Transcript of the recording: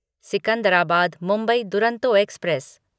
Secunderabad Mumbai Duronto express